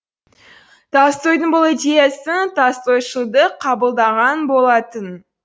толстойдың бұл идеясын толстойшылдық қабылдаған болатын